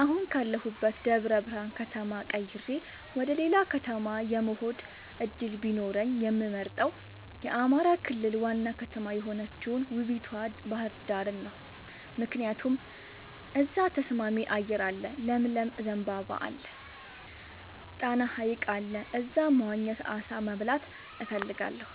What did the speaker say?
አሁን ካለሁበት ደብረብርሃን ከተማ ቀይሬ ወደሌላ ከተማ የመሆድ እድል ቢኖረኝ የምመርጠው የአማራ ክልል ዋና ከተማ የሆነችውን ውቡቷ ባህርዳርን ነው። ምክንያቱም እዛ ተስማሚ አየር አለ ለምለም ዘንባባ አለ። ጣና ሀይቅ አለ እዛ መዋኘት አሳ መብላት እፈልጋለሁ።